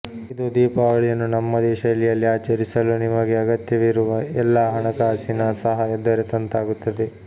ಇದು ದೀಪಾವಳಿಯನ್ನು ನಮ್ಮದೇ ಶೈಲಿಯಲ್ಲಿ ಆಚರಿಸಲು ನಿಮಗೆ ಅಗತ್ಯವಿರುವ ಎಲ್ಲಾ ಹಣಕಾಸಿನ ಸಹಾಯ ದೊರೆತಂತಾಗುತ್ತದೆ